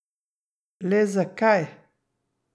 Le zakaj?